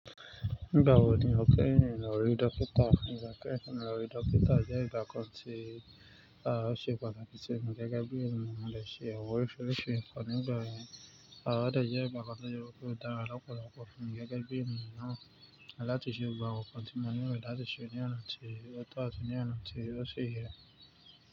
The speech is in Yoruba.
Gba wo ni o kehin lórí dókítà? Ígbà kehin tí mo lórí dókítà, je ìgbà kan ti, a o ṣe pàtàkì simi gẹ́gẹ́ bí eniyan mo de ṣẹ́ iran wo orisirisi kan nígbà yen. A ode je nkankan to je wipe dára, lọ́pọ̀lọpọ̀ simí gẹ́gẹ́ bí eniyan náà. Látìse gbogbo àwon kan tí mo ní lilo, látìse ni ọ̀nà ti, ọ̀to ati, ni ọ̀nà ti ó ṣi yé.